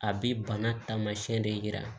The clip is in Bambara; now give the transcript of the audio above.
A bɛ bana taamasiyɛn de yira